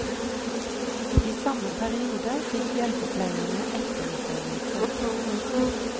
I samme periode fikk hjelpepleierne etterutdannelse.